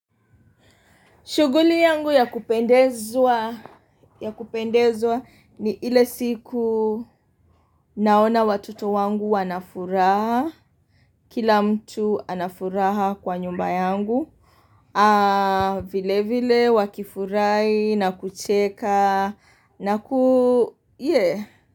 Shuguli yangu ya kupendezwa, ya kupendezwa ni ile siku naona watuoto wangu wana furaha, kila mtu anafuraha kwa nyumba yangu, aaa, vile vile, wakifurahi, na kucheka, na ku, yee.